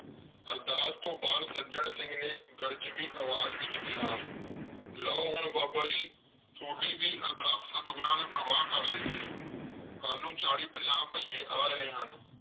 ਅਰਦਾਸ ਤੋਂ ਬਾਅਦ ਸੱਜਣ ਸਿੰਘ ਨੇ ਗਰਜਵੀਂ ਆਵਾਜ਼ ਵਿਚ ਕਿਹਾ। ਲਓ। ਹੁਣ ਬਾਬਾ ਜੀ ਥੋਡੀ ਵੀ ਅਰਦਾਸ ਸਤਿਗੁਰਾਂ ਨੇ ਪ੍ਰਵਾਨ ਕਰ ਲਈ ਹੈ ਕੱਲ ਨੂੰ ਚਾਲੀ ਪੰਜਾਹ ਭਈਏ ਆ ਰਹੇ ਹਨ।